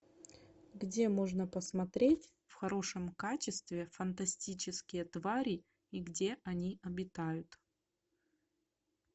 где можно посмотреть в хорошем качестве фантастические твари и где они обитают